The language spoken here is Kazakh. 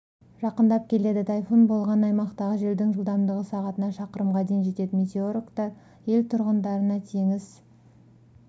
жақындап келеді тайфун болған аймақтағы желдің жылдамдығы сағатына шақырымға дейін жетеді метеорологтар ел тұрғындарына теңіз